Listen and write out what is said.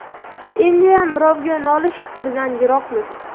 Endiyam birovga nolish fikridan yiroqmiz.